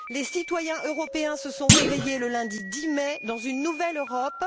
Les citoyens européens se sont réveillés le lundi 10 mai dans une nouvelle Europe.